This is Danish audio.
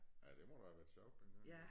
Ja det må da have været sjovt dengang